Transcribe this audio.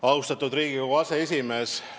Austatud Riigikogu aseesimees!